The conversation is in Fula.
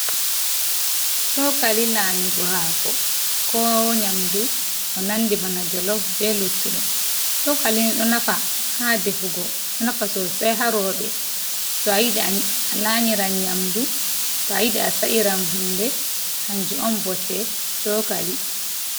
Cokali lanyugo hako ko nyamdu, ko nandi bana Jolof be luttuɗum. Cokalini ɗo nafa ha Defugo do nafa Sosei ha Roɓe.to ayidi a lanyiran nyamdu to ayidi a sa'iran hunde kanjum bote Cokali.